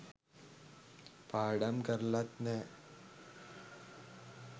පාඩම් කරලත් නෑ